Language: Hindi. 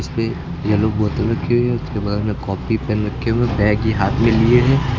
फिर येलो बोतल रखी हुई है उसके बगल में कॉपी पेन रखें हुए है बैग ये हाथ में लिए हैं।